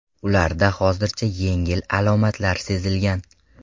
Ularda hozircha yengil alomatlar sezilgan.